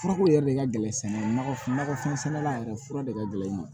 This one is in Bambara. Furako yɛrɛ de ka gɛlɛn sɛnɛ nakɔfɛn sɛnɛla yɛrɛ fura de ka gɛlɛn i ma